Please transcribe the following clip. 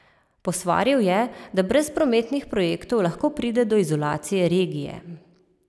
Posvaril je, da brez prometnih projektov lahko pride do izolacije regije.